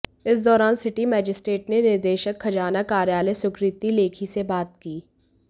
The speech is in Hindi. इस दौरान सिटी मजिस्ट्रेट ने निदेशक खजाना कार्यालय सुकृति लेखी से बात की